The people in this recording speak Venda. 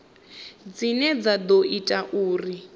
dzine dza ḓo ita uri